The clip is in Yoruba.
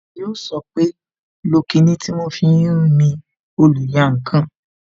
Yó sọ pé "lo kinni tí wọn fi ń mi oluyankan"